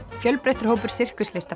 fjölbreyttur hópur